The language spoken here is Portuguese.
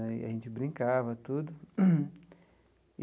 Aí a gente brincava, tudo.